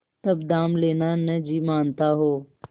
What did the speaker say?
तब दाम लेना न जी मानता हो